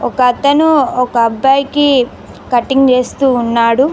ఒక అతను ఒక అబ్బాయికి కటింగ్ చేస్తూ ఉన్నాడు.